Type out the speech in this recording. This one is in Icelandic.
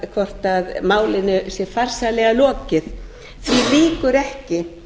það hvort málinu sé farsællega lokið því lýkur ekki